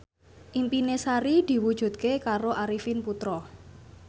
impine Sari diwujudke karo Arifin Putra